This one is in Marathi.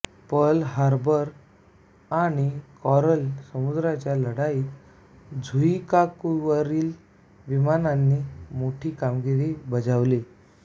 पर्ल हार्बर आणि कॉरल समुद्राच्या लढाईत झुइकाकुवरील विमानांनी मोठी कामगिरी बजावली